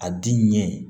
A di ɲɛ